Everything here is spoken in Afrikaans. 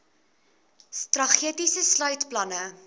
strategie sluit planne